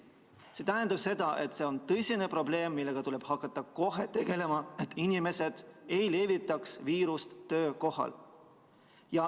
See tähendab seda, et see on tõsine probleem, millega tuleb hakata kohe tegelema, et inimesed ei levitaks viirust töökohal.